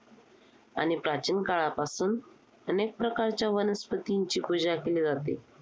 आणि प्राचीन काळापासून अनेक प्रकारच्या वनस्पतींची पूजा केली जाते.